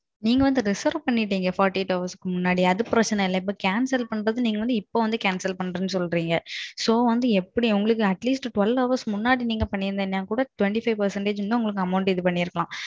நீங்க வந்து reserve பண்ணிருக்கீங்க forty eight hours முன்னாடி, அது பிரச்சனை இல்ல நீங்க cancelம் பண்ணிருக்கணும் forty eight hours முன்னாடி. இப்போ வந்து cancel பண்றது சொல்றீங்க. So, எப்பிடி atleast twelve hours முன்னாடி சொல்லிருந்தீங்கனா கூட twenty five percentage இன்னும் amount உங்களுக்கு இது பண்ணிருக்கலாம்.